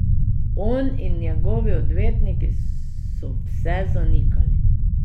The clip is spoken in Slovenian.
On in njegovi odvetniki so vse zanikali.